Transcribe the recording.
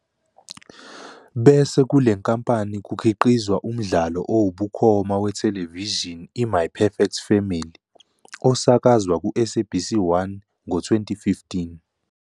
Bese kule nkampani kukhiqizwa umdlalo owubukhoma wethelevishini iMy "Perfect Family", osakazwa kuSABC1 ngo-2015.